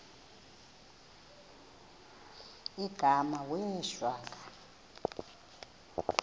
igama wee shwaca